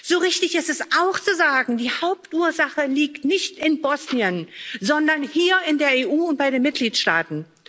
so richtig ist es auch zu sagen Die Hauptursache liegt nicht in Bosnien, sondern hier in der EU und bei den Mitgliedstaaten.